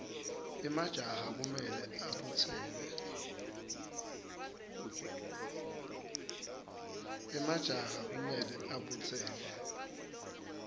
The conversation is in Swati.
emajaha kumele abutseke